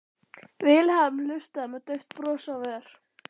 Vilhelm hlustaði með dauft bros á vör.